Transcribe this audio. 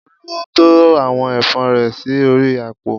Olú to àwọn ẹ̀fọ́ rẹ̀ sí orí àpò